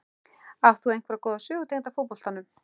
Átt þú einhverja góða sögu tengda fótboltanum?